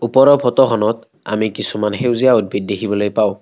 ওপৰৰ ফটো খনত আমি কিছুমান সেউজীয়া উদ্ভিত দেখিবলৈ পাওঁ।